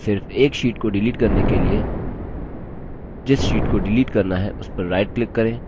सिर्फ एक sheets को डिलीट करने के लिए जिस sheets को डिलीट करना है उस पर right click करें